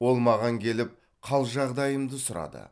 ол маған келіп қал жағдайымды сұрады